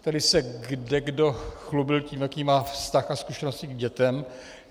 Tady se kdekdo chlubil tím, jaký má vztah a zkušenosti s dětmi.